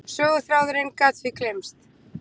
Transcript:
Söguþráðurinn gat því gleymst.